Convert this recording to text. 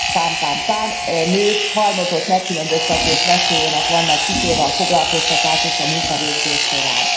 pám pám pám nők halmozott megkülönböztetés veszélyének vannak kitéve a foglalkoztatás és a munkavégzés során.